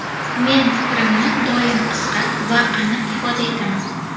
Men fikrimni doim qisqa va aniq ifoda etaman.